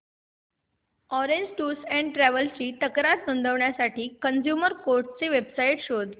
orange tours and travels ची तक्रार नोंदवण्यासाठी कंझ्युमर कोर्ट ची वेब साइट शोध